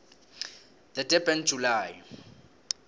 the durban july